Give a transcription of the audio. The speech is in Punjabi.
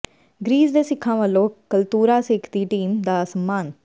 ਗਰੀਸ ਦੇ ਸਿੱਖਾਂ ਵਲੋਂ ਕਲਤੂਰਾ ਸਿੱਖ ਦੀ ਟੀਮ ਦਾ ਸਨਮਾਨ